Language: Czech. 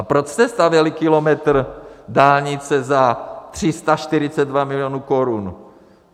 A proč jste stavěli kilometr dálnice za 342 milionů korun?